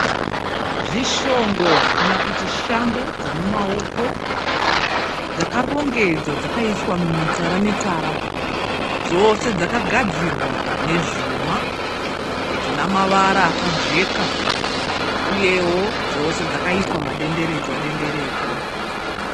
Zvishongo kana kuti shambo dzomumaoko dzakarongedzwa dzakaiswa mumitsara-mitsara. Dzose dzakagadzirwa nezvuma zvinamavara akajeka uyewo dzose dzakaitwa madenderedzwa-denderedzwa.